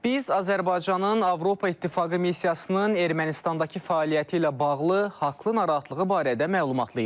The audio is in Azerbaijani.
Biz Azərbaycanın Avropa İttifaqı missiyasının Ermənistandakı fəaliyyəti ilə bağlı haqlı narahatlığı barədə məlumatlıyıq.